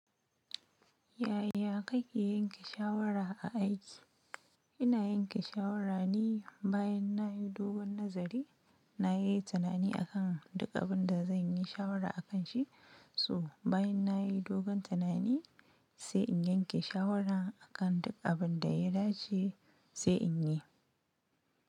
Yaya kake yanke shawara a aiki? Ina yanke shawara ne bayan na yi dogon nazari, na yi tunani akan duk abin da zan yi shawara akan shi, so bayan na yi dogon tunani sai in yanke shawara akan duk abin da ya dace sai in yi.